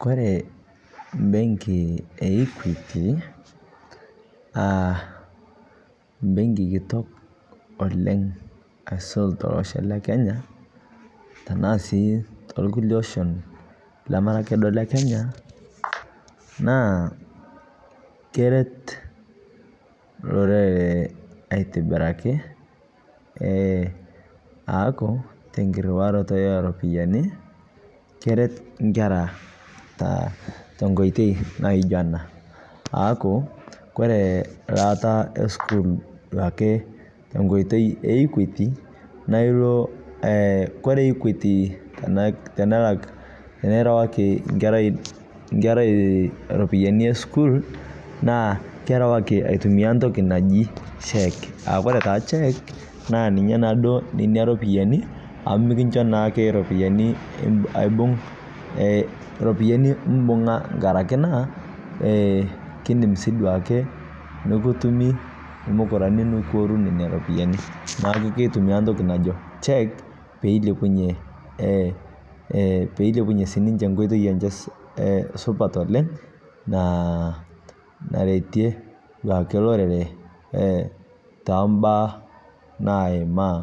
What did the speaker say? Kore bengi e equity a bengi kitok oleng' aisul teloshoo Le Kenya tanaa sii tolkulie oshon lemaraa akee duo Le Kenya naa keret loreree aitibirakii ee aaku tenkiruaroto eropiyani keret nkeraa tenkoitei naijo anaa aaku Kore laata esukuul duake tonkoitei e equity naa ilo Kore equity tanalak tinarawaki nkerai ropiyani esukuul naa kerawaki aitumia ntoki najii cheque aakore taa cheque naa ninyee naaduo nenia ropiyani amu mikinshoo naake ropiyani aibung' ropiyani mbung'a ng'arake naa kindim sii duake nukutumi lmukuranii nikiorunii nenia ropiyani naaku keitumia ntoki najoo cheque peilepunyee ee, peilepunyee sii ninshee nkoitei supat oleng' naaretie duake lorere tambaa naimaa